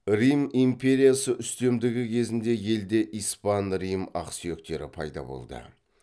рим империясы үстемдігі кезінде елде испан рим ақсүйектері пайда болды